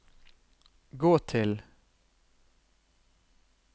gå til